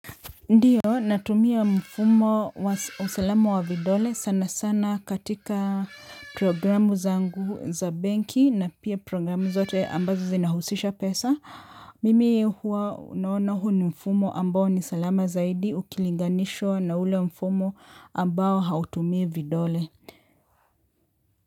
Ndiyo natumia mfumo wa usalama wa vidole sana sana katika programu zangu za banki na pia programu zote ambazo zinahusisha pesa. Mimi huwa naona huu ni mfumo ambao ni salama zaidi ukilinganishwa na ule mfumo ambao hautumii vidole.